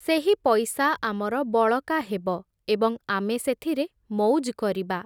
ସେହି ପଇସା ଆମର ବଳକା ହେବ, ଏବଂ ଆମେ ସେଥିରେ ମଉଜ୍ କରିବା ।